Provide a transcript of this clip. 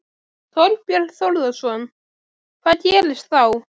Þorbjörn Þórðarson: Hvað gerist þá?